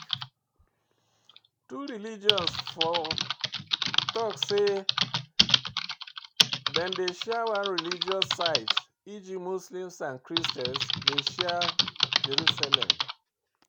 Two religion for talk sey dem dey share one religious site eg Muslims and Christians dey share Jerusalem